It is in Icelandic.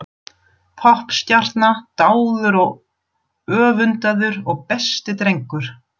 Poppstjarna, dáður og öfundaður og besti drengur.